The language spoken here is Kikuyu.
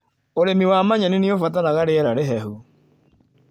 ũrĩmi wa manyeni nĩ ũbataraga riera rĩhehu.